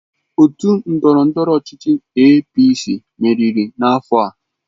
Otu ndọrọndọrọ ọchịchị APC meriri n'afọ a.